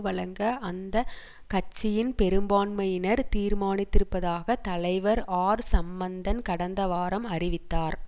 வழங்க அந்த கட்சியின் பெரும்பான்மையினர் தீர்மானித்திருப்பதாக தலைவர் ஆர் சம்மந்தன் கடந்தவாரம் அறிவித்தார்